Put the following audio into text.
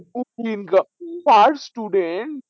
তার per student